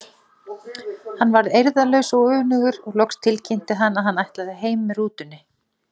Hann varð eirðarlaus og önugur og loks tilkynnti hann að hann ætlaði heim með rútunni.